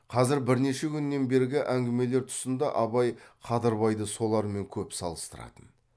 қазір бірнеше күннен бергі әңгімелер тұсында абай қадырбайды солармен көп салыстыратын